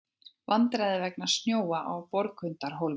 Vandræði vegna snjóa á Borgundarhólmi